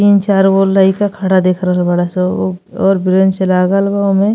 तीन चार गो लईका खड़ा देख रहल बड़ासन। उह बैंच लागल बा ओमे।